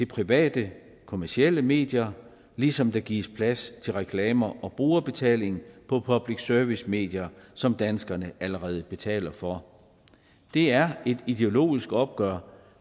private kommercielle medier ligesom der gives plads til reklamer og brugerbetaling på public service medier som danskerne allerede betaler for det er et ideologisk opgør